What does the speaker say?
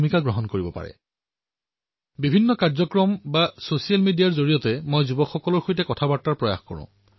ভিন্ন ভিন্ন কাৰ্যসূচী অথবা ছচিয়েল মিডিয়াৰ জৰিয়তে যুৱসমাজৰ সৈতে নিৰন্তৰ কথা পাতিবলৈ মই প্ৰয়াস কৰোঁ